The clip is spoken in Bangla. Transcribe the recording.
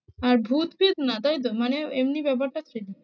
আর ভূত প্রেত না তাই তো? মানে এমনি ব্যাপারটা ঠিকই।